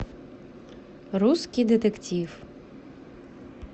русский детектив